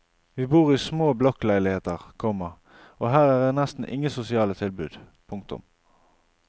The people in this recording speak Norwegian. Vi bor i små blokkleiligheter, komma og her er nesten ingen sosiale tilbud. punktum